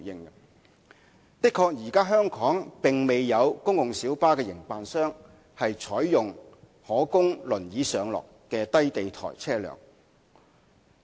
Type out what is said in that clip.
首先，香港現時確實未有公共小巴營辦商採用可供輪椅上落的低地台車輛。